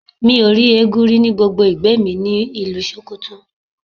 Mi ò rí eégún rí ní gbogbo ìgbẹ́ mi ni ìlú Sókótó.